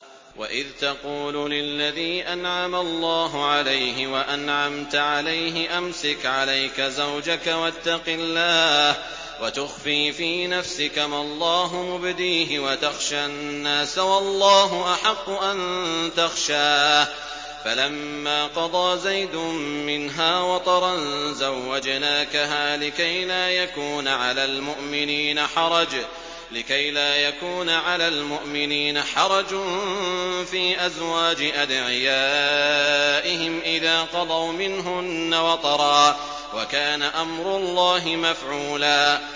وَإِذْ تَقُولُ لِلَّذِي أَنْعَمَ اللَّهُ عَلَيْهِ وَأَنْعَمْتَ عَلَيْهِ أَمْسِكْ عَلَيْكَ زَوْجَكَ وَاتَّقِ اللَّهَ وَتُخْفِي فِي نَفْسِكَ مَا اللَّهُ مُبْدِيهِ وَتَخْشَى النَّاسَ وَاللَّهُ أَحَقُّ أَن تَخْشَاهُ ۖ فَلَمَّا قَضَىٰ زَيْدٌ مِّنْهَا وَطَرًا زَوَّجْنَاكَهَا لِكَيْ لَا يَكُونَ عَلَى الْمُؤْمِنِينَ حَرَجٌ فِي أَزْوَاجِ أَدْعِيَائِهِمْ إِذَا قَضَوْا مِنْهُنَّ وَطَرًا ۚ وَكَانَ أَمْرُ اللَّهِ مَفْعُولًا